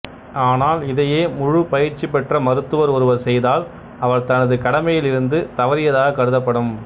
ஆனால் இதையே முழுப் பயிற்சிபெற்ற மருத்துவர் ஒருவர் செய்தால் அவர் தனது கடமையில் இருந்து தவறியதாகக் கருதப்படும்